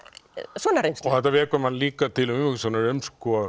svona reynslu þetta vekur mann líka til umhugsunar um